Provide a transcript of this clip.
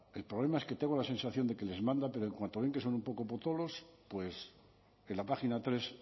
el problema es que tengo la sensación de que les manda pero en cuanto ven que son un poco potolos pues que la página tres